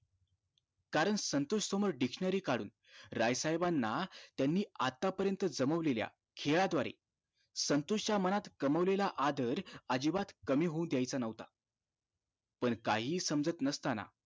कारण संतोष समोर dictionary काढुन राय साहेबांना त्यांनी आता पर्यंत जमावलेल्या खेळाद्वारे संतोष च्या मनात कमावलेला आदर अजिबात कमी होऊ द्याच नव्हता पण काहि समजत नसताना